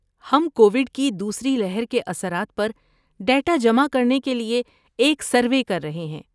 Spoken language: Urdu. ہم کوویڈ کی دوسری لہر کے اثرات پر ڈیٹا جمع کرنے کے لیے ایک سروے کر رہے ہیں۔